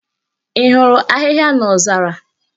Ị hụrụ ahịhịa n'ozara?